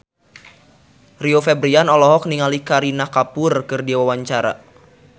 Rio Febrian olohok ningali Kareena Kapoor keur diwawancara